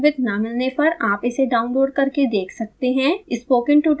अच्छी bandwidth न मिलने पर आप इसे download करके देख सकते हैं